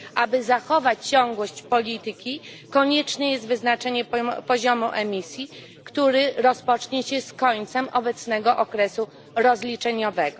Aby zachować ciągłość polityki, konieczne jest wyznaczenie poziomu emisji, który rozpocznie się z końcem obecnego okresu rozliczeniowego.